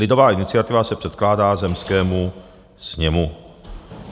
Lidová iniciativa se předkládá zemskému sněmu.